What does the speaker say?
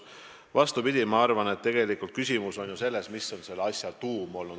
Vastupidi, ma arvan, et küsimus on tegelikult selles, mis on asja tuum.